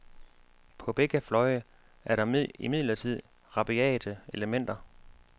På begge fløje er der imidlertid rabiate elementer.